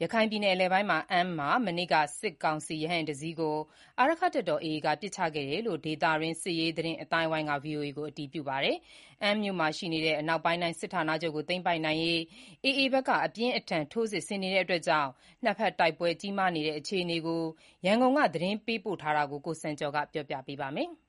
ရခိုင်ပြည်နယ်အလယ်ပိုင်း အမ်းမြို့မှာ မနေ့က စစ်ကောင်စီ ရဟတ်ယာဥ်တစီးကို အာရက္ခတပ်တော် AA က ပစ်ချခဲ့တယ်လို့ ဒေသတွင်း စစ်ရေးသတင်းအသိုင်းအဝိုင်းက ဗွီအိုအေကိုအတည်ပြုပါတယ်။ အမ်းမြို့မှာရှိနေတဲ့ အနောက်ပိုင်းတိုင်းစစ်ဌာနချုပ်ကို သိမ်းပိုက်နိုင်ရေး AA ဘက်က အပြင်းအထန် ထိုးစစ်ဆင်နေတာကြောင့် နှစ်ဘက်တိုက်ပွဲကြီးမားနေတဲ့အခြေအနေ ရန်ကုန်က ပေးပို့လာတဲ့သတင်းကို ကိုစံကျော်က တင်ပြပေးထားပါတယ်။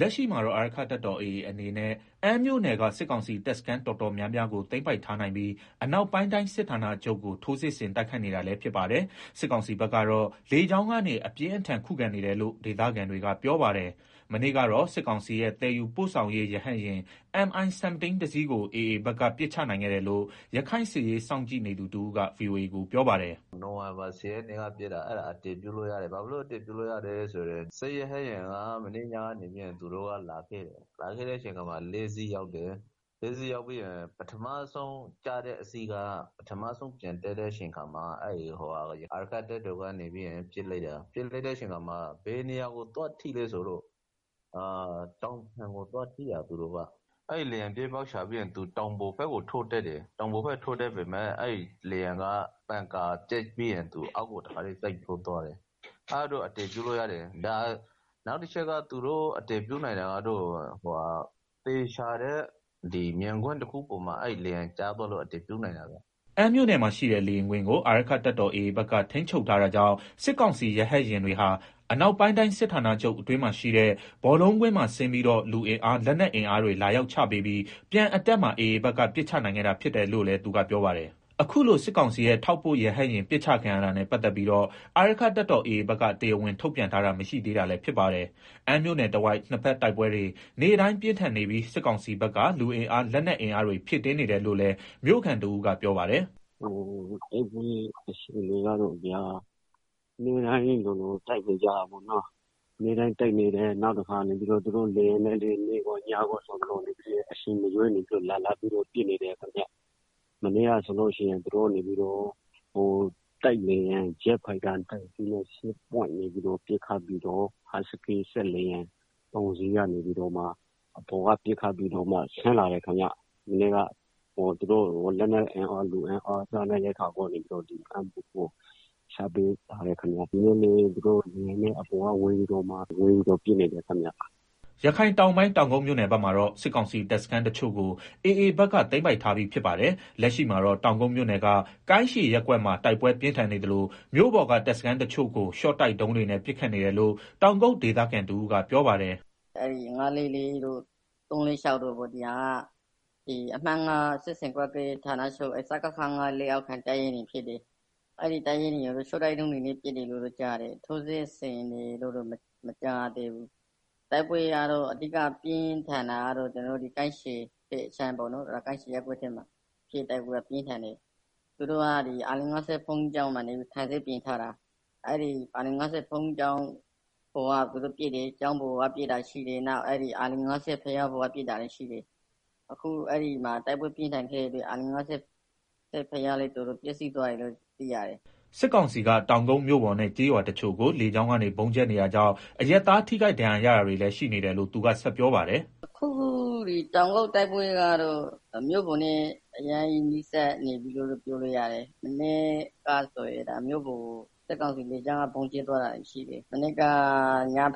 လက်ရှိမှာတော့ အာရက္ခတပ်တော် AA အနေနဲ့ အမ်းမြို့နယ်က စစ်ကောင်စီတပ်စခန်း တော်တော် များများကိုသိမ်းပိုက်ထားနိုင်ပြီး အနောက်ပိုင်းတိုင်းစစ်ဌာနချုပ်ကို ထိုးစစ်ဆင်တိုက်ခိုက်နေတာ လည်းဖြစ်ပါတယ်။ စစ်ကောင်စီဘက်ကတော့ လေကြောင်းကနေ အပြင်းထန်ခုခံနေတယ်လို့ ဒေသခံတွေကပြောပါတယ်။ မနေ့ကတော့ စစ်ကောင်စီရဲ့သယ်ယူပို့ဆောင်ရေး ရဟတ်ယာဉ် MI-17 တစီးကို AAဘက်က ပစ်ချနိုင်ခဲ့တယ်လို့ ရခိုင်စစ်ရေး စောင့်ကြည့်နေသူတဦးက ဗွီအိုအေကို ပြောပါတယ်။ “နိုဝင်ဘာ ၁ဝ ရက်နေ့က ပစ်တာ၊ အဲဒါ အတည်ပြုလို့ရတယ်။ ဘာဖြစ်လို့အတည်ပြုလို့ရလဲဆိုတော့ စစ်ရဟတ်ယာဉ်ကမနေ့က လာခဲ့တယ်။ အဲဒီမှာ ၄ စီးရောက်တယ်။ အဲဒီမှာ ပထမဆုံး ဆင်းတဲ့တစီးကို ပြန်တက်တဲ့အချိန်မှာ အာရက္ခတပ်တော်က ပစ်လိုက်တာ။ ပစ်တဲ့အခါ ဘယ်နေရာကို သွားထိလဲ ဆိုတော့ တောင်ပံကိုထိတာ။ အဲဒီမှာလေယာဉ်ကပြေးပေါက်ရှာပြီးတော့ တောင်ပေါ်ဘက်ကိုထိုး တတ်တာ။ ဒါပေမယ့်လည်း ပန်ကာပျက်ပြီးတော့ အောက်ကို ထိုးဆင်းသွားတယ်။ အဲဒါ အတည်ပြုလို့ ရတယ်။ နောက်တချက်က သူတို့ အတည်ပြုနိုင်တာက သေချာတဲ့မြင်ကွင်းတခုပေါ်မှာလေယာဉ်ကျသွားလို့ အတည်ပြုနိုင်တာပါ။” အမ်းမြို့နယ်မှာရှိတဲ့ လေယာဉ်ကွင်းကို အာရက္ခတပ်တော် AA ဘက်က ထိန်းချုပ်ထားတာကြောင့် အနောက်ပိုင်းတိုင်းစစ်ဌာနချုပ်အတွင်းမှာရှိတဲ့ ဘောလုံးကွင်းမှာ ဆင်းပြီးတော့ လူအင်အားလက်နက်အင်အားတွေ လာရောက်ချပေးပြီး ပြန်အတက်မှာ AA ဘက်က ပစ်ချနိုင်ခဲ့တာဖြစ်တယ်လို့လည်း သူကပြောပါတယ်။ အခုလို စစ်ကောင်စီရဲ့ ထောက်ပို့ရဟတ်ယာဉ်ပစ်ချခံရတာနဲ့ ပတ်သတ်ပြီးတော့ အာရက္ခတပ်တော် AA ဘက်ကတရားဝင်ထုတ်ပြန်ထားတာမရှိသေးပါဘူး။ အမ်းမြို့နယ်တဝိုက် နှစ်ဘက်တိုက်ပွဲတွေ နေ့တိုင်းပြင်းထန်နေပြီး စစ်ကောင်စီဘက်က လူအင်အား လက်နက်အင်အားတွေ ဖြည့်တင်းနေတယ်လို့ လည်း မြို့ခံတဦးကပြောပါတယ်။ “တိုက်ပွဲအခြေအနေကတော့ဗျာ နေ့တိုင်းလိုလိုတိုက်နေတယ်။ နောက်ပြီးတော့ လေယာဉ်နဲ့လည်း နေ့တိုင်း နေ့ရောညပါလာပြီးတော့ ပစ်နေတယ်။ မနေ့ကဆိုရင် သူတို့ တိုက်လေယာဉ်ဂျက်ဖိုက်တာ နှစ်စီးနဲ့ပစ်ခတ်ပြီးတော့ ဟတ်စကီးလေယာဉ် ၃ စီးကနေပြီးတော့မှ အပေါ်ကပစ်ခတ်ပြီး ဆင်းလာ တယ်။ သူတို့ လက်နက်အင်အား လူအင်အား လာချပေးတယ်။ ဒီနေ့လည်း သူတို့လေယာဉ်နဲ့လာပြီး တော့ပစ်နေတယ်။” ရခိုင်တောင်ပိုင်း တောင်ကုတ်မြို့နယ်ဘက်မှာတော့ စစ်ကောင်စီတပ်စခန်းတချို့ကို AA ဘက်က သိမ်းပိုက်ထားပြီးဖြစ်ပါတယ်။ လက်ရှိမှာတော့ တောင်ကုတ်မြို့နယ်က ကိုင်းရှည်ရပ်ကွက်မှာ တိုက်ပွဲပြင်းထန်နေသလို မြို့ပေါ်က တပ်စခန်းတချို့ကို ရှော့တိုက်ဒုံးတွေနဲ့ ပစ်ခတ်နေတယ်လို့ တောင်ကုတ်ဒေသခံတဦးကပြောပါတယ်။ “၅၄၄ တို့၊ ၃၄၆ တို့ပေါ့။ ဒီဟာတွေက အမှတ် စစ်ဆင်ကွပ်ကဲရေးဌာနချုပ် စခခ လက်အောက်ခံ တပ်ရင်းတွေဖြစ်တယ်။ အဲဒီတပ်ရင်းတွေကို ရှော့တိုက်ဒုံးတွေနဲ့ ပစ်တယ်လို့တော့ ကြားတယ်။ ထိုးစစ်ဆင်တယ်လို့တော့ မကြားရသေးဘူး။ တိုက်ပွဲကတော့ အဓိက ပြန်းထန်နေတာက ကိုင်းရှည်ဘက်အခြမ်း ကိုင်းရှည်ရပ်ကွက်ထဲမှာ သူတို့ကအာလိန်ငါးဆင့်ဘုန်းကြီးကျောင်းမှာ ခံစစ်ပြင်ထားတာ။ အဲဒီကနေ သူတို့ကခံပစ်နေတာ။ အခုအဲဒီမှာ တိုက်ပွဲပြင်းထန်ခဲ့တဲ့အတွက် အာလိန်ငါးဆင့်ဘုရားလည်း တော်တော်ပျက်စီးသွားတယ်လို့ သိရတယ်။” စစ်ကောင်စီက တောင်ကုတ်မြို့ပေါ်နဲ့ ကျေးရွာတချို့ကို လေကြောင်းကနေဗုံးကြဲနေ တာကြောင့် အရပ်သားထိခိုက်ဒဏ်ရာရတာတွေလည်းရှိနေတယ်လို့ သူကဆက်ပြောပါတယ်။ “အခုတောင်ကုတ်တိုက်ပွဲကတော့ မြို့ပေါ်နဲ့ အရမ်းနီးကပ်နေပြီလို့ပြောလို့ရတယ်။ မနေ့ကဆိုရင် မြို့ပေါ်ကို စစ်ကောင်စီလေကြောင်းက ဗုံးကြဲသွားတာတွေရှိတယ်။ မနေ့က ည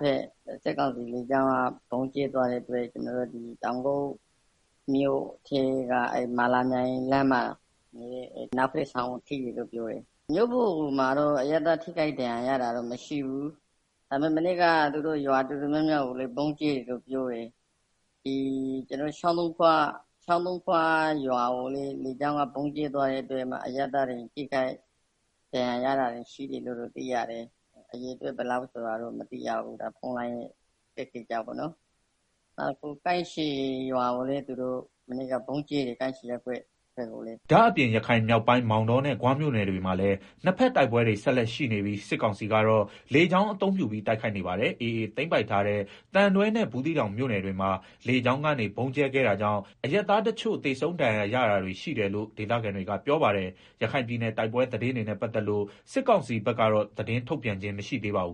ဘက် စစ်ကောင်စီ လေကြောင်းက ဗုံးကြဲသွားတဲ့အတွက် ကျနော်တို့ တောင်ကုတ်မြို့ထဲက မာလာမြိုင်လမ်းမှာရှိတဲ့ ဒေါ်စိန်စိန်ရဲ့ အိမ်နောက်ဘက်အဆောင်ကို ထိတယ်လို့ပြောတယ်။ မြို့ပေါ်မှာ အရပ်သား ထိခိုင်ဒဏ်ရာရတာတော့မရှိဘူး။ ဒါပေမယ့် မနေ့က ရွာတော်တော်များများကိုလည်း သူတို့ဗုံးကြဲ တယ်လို့ပြောတယ်။ ချောင်းသုံးခွရွာကိုလည်း လေကြောင်းက ဗုံးကြဲသွားတဲ့အတွက် အရပ်သား ထိခိုက်ဒဏ်ရာရတာတွေရှိတယ်လို့သိရတယ်။ အရေအတွက်ဘယ်လောက်ဆိုတာတော့ မသိရဘူး။ ဖုန်းလိုင်းအခက်အခံကြောင့် ကိုင်းရှည်ရွာကိုလည်း မနေ့က ဗုံးကြဲတယ်။” ဒါ့အပြင် ရခိုင်မြောက်ပိုင်း မောင်တောနဲ့ ဂွမြို့နယ်တွေမှာလည်း နှစ်ဘက်တိုက်ပွဲတွေ ဆက်လက် ရှိနေပြီး စစ်ကောင်စီကတော့ လေကြောင်းအသုံးပြုပြီး တိုက်ခိုက်နေပါတယ်။ AA သိမ်းပိုက်ထားတဲ့ သံတွဲနဲ့ ဘူးသီးတောင်မြို့နယ်တွေမှာ လေကြောင်းကနေဗုံးကြဲခဲ့တာကြောင့် အရပ်သား တချို့သေဆုံး ဒဏ်ရာရတာတွေရှိတယ်လို့ ဒေသခံတွေကပြောပါတယ်။ ရခိုင်ပြည်နယ်တိုက်ပွဲသတင်းတွေနဲ့ ပတ်သက်လို့ စစ်ကောင်စီဘက်က သတင်းထုတ်ပြန်ခြင်းမရှိသေးပါဘူး